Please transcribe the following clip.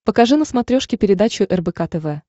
покажи на смотрешке передачу рбк тв